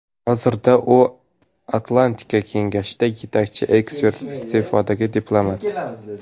Hozirda u Atlantika Kengashida yetakchi ekspert, iste’fodagi diplomat.